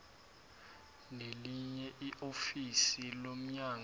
nelinye iofisi lomnyango